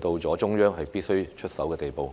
到了中央必須出手的地步。